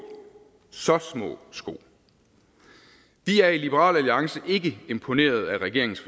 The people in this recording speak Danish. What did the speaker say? så små sko vi er i liberal alliance ikke imponeret af regeringens